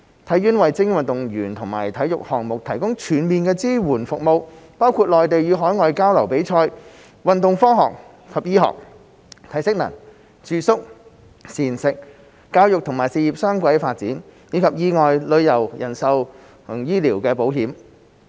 體院為精英運動員和體育項目提供全面支援服務，包括內地與海外交流及比賽、運動科學及醫學、體適能、住宿、膳食、教育與事業雙軌發展，以及意外、旅遊、人壽及醫療保險。